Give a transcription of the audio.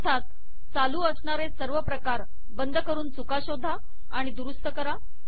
अर्थात चालू असणारे सर्व प्रकार बंद करून चुका शोधा आणि दुरुस्त करा